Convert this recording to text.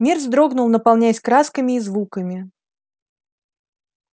мир вздрогнул наполняясь красками и звуками